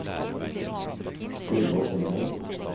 Gunnvor Grindheim